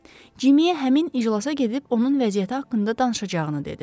Cimmeyə həmin iclasa gedib onun vəziyyəti haqqında danışacağını dedi.